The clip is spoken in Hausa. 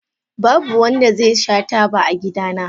Babu wanda zai sha taba a gidana.